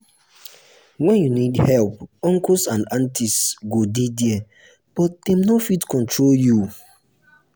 when you need help uncles and aunties go dey there but dem no fit control you.